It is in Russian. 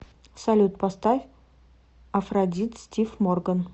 салют поставь афродит стив морган